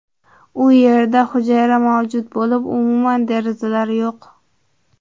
U yerda hujra mavjud bo‘lib, umuman derazalar yo‘q.